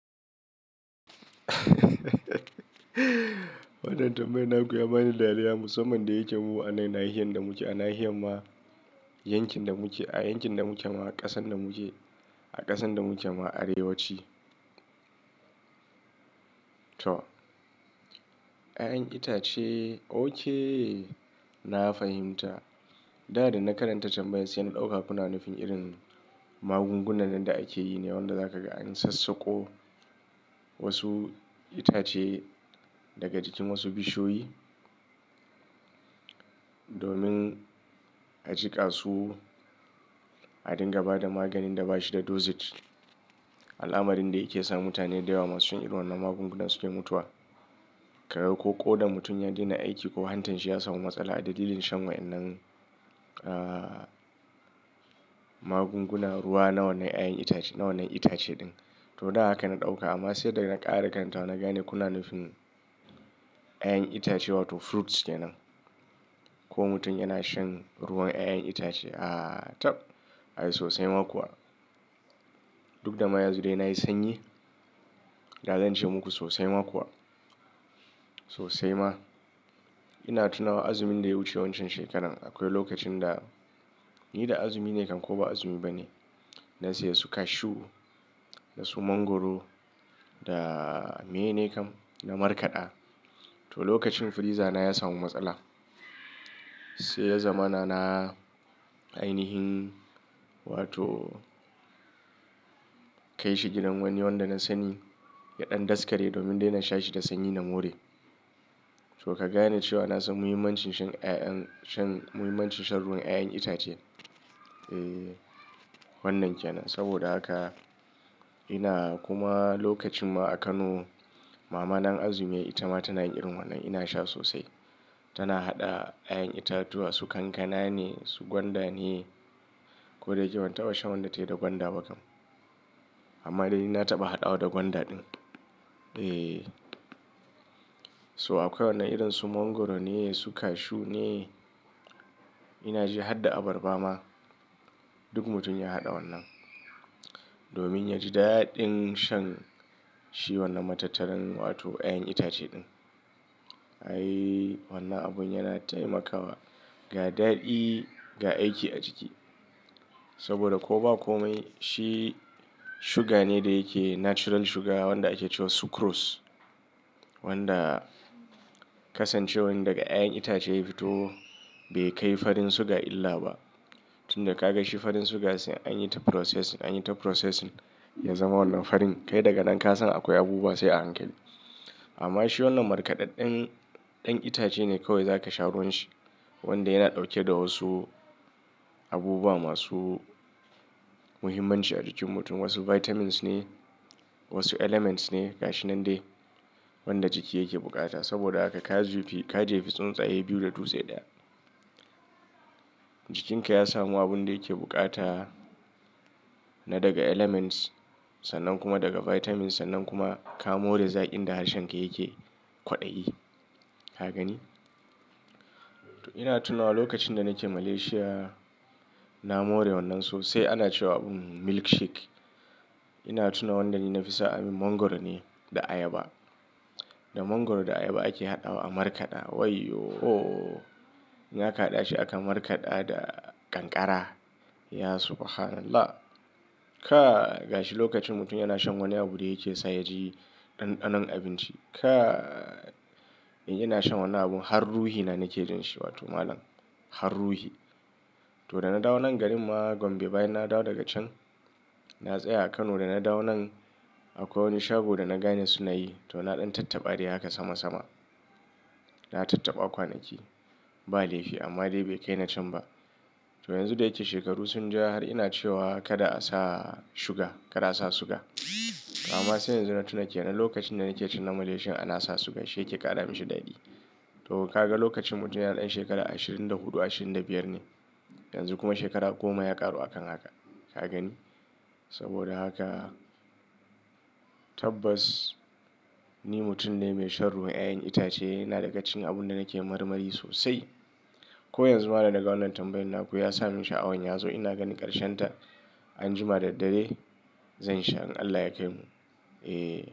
Wannan tambayan naku ya bani dariya musamman da yake mu a nan nahiyar da muke, a nahiyar ma yankin da muke, a yankin da muke ma ƙasan da muke, a ƙasan da muke ma Arewa ci. To, 'ya'yan itace, oke na fahimta. Da da na karanta tambayar sai na ɗauka kuna nufin irin magungunan da ake yi ne wanda zaka ga an sassaƙo wasu itace daga jikin wasu bishiyoyi domin a jiƙa su a dinga ba da maganin da ba shi da dosage. Al'amarin da yake sa mutane da yawa masu yin irin wannan magunguna suke mutuwa. Karga ko ƙodar mutum ya daina aiki ko hantarsa ya samu matsala a dalilin shan wa'innan, ah, magungunan ruwa na wannan 'ya'yan itace, na wannan itace ɗin. To, da haka na ɗauka amma sai da na ƙara karantawa na gane kuna nufin 'ya'yan itace wato fruits kenan. Ko mutum yana shan ruwan 'ya'yan itace? Ah, tab! Ai sosai ma kuwa. Duk da ma yanzu dai nayi sanyi. Da zan ce muku sosai ma kuwa. Sosai ma. Ina tunawa azumin da ya wuce wancan shekarar. Akwai lokacin da ni da azumi ne kan ko ba azumi ba ne, na saya su cashew, na siyo mangwaro da mene kan? Na markaɗa. To, lokacin freezer na ya samu matsala. Sai ya zamana na, ainihin wato kai shi gidan wani wanda na sani ya ɗan daskare domin dai na sha shi da sanyi na more. To, ka gane cewa na san muhimmancin shan 'ya'yan, shan, muhimmancin shan ruwan 'ya'yan itace. Eh, wannan kenan. Saboda haka ina kuma lokacin ma a Kano mama in azumi yayi Itama tana yin irin wannan ina sha sosai. Tana haɗa 'ya'yan itatuwa su kankana ne, su gwanda ne. Ko da yake, ban taɓa shan wanda ta yi da gwanda ba kam. Amma dai na taɓa haɗawa da gwanda din. Eh. So akwai wannan irin su mangwaro ne, su cashew ne. Ina ji har da abarba ma. Duk mutum ya haɗa wannan domin yaji daɗin shan shi wannan matattaran wato 'ya'yan itace din. Ai wannan abun yana taimakawa ga daɗi, ga aiki a jiki. Saboda ko ba komai shi suga ne da yake natural sugar wanda ake cewa sucrose. Wanda kasancewar daga 'ya'yan itace ya fito bai kai farin suga illa ba. Tun da ka ga shi farin suga sai an yi ta processing, an yi ta processing ya zama wannan farin. Kai daga nan ka san akwai abubuwa sai a hankali. Amma shi wannan markaɗaɗɗen, ɗan itace ne kawai zaka sha ruwan shi wanda yana ɗauke da wasu abubuwa masu muhimmanci a jikin mutum. Wasu vitamins ne, wasu elements ne. Ga shi nan dai wanda jiki yake buƙata. Saboda haka ka zufe, ka jefi tsuntsaye biyu da dutse ɗaya. Jikinka ya samu abun da yake buƙata na daga elements sannan kuma daga vitamins sannan kuma ka more zaƙin da harshen ka yake kwaɗayi. Ka gani? Ina tunawa lokacin da nake Malaysia na more wannan sosai ana cewa milk shake. Ina tuna wannan da ni nafi so ayi min, mangwaro ne da ayaba. Da mangwaro da ayaba ake haɗawa a markaɗa. Wai yooo! In aka haɗa shi aka markaɗa da ƙanƙara. Ya subhanallah! Kai! Ga shi lokacin mutum yana shan wani abu da yake sa ya ji ɗanɗanon abinci. Kai, in ina shan wannan abun har ruhi na nake jin shi. Wato malam, har ruhi. To da na dawo nan garin ma Gombe bayan na dawo daga can, na tsaya a Kano da na dawo nan akwai wani shago da na gane sunayi. To na ɗan tattaɓa dai haka sama sama. Na tattaɓa kwanaki ba laifi amma dai bai kai na can ba. To yanzu da yake shekaru sun ja har ina cewa kada a sa suga, kada a sa suga. Amma sai yanzu na tuna kenan lokacin da nake shan na Malaysia ana sa suga shi yake ƙara mishi daɗi. To ka ga lokacin mutum yana ɗan shekara ashirin da huɗu, ashirin da biyar ne. Yanzu kuma shekara goma ya ƙaru a kan haka. Ka gani? Saboda haka tabbas ni mutum ne mai shan ruwan 'ya'yan itace yana daga cikin abun da nake marmari sosai. Ko yanzu ma da na ga wannan tambayar naku ya sa mun sha'awan yazo. Ina ganin ƙarshen ta anjima da daddare zan sha in Allah ya kaimu. Eh.